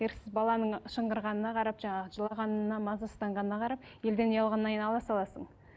еріксіз баланың шыңғырғанына қарап жаңағы жылағанына мазасызданғанына қарап елден ұялғаннан кейін ала саласың